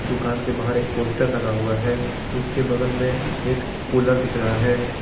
दुकान के बाहर एक पोस्टर लगा हुआ है उसके बगल में एक कूलर दिख रहा है।